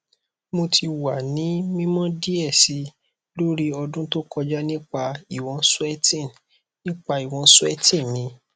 mo ti wa ni mimọ diẹ sii lori ọdun to kọja nipa iwọn sweating nipa iwọn sweating mi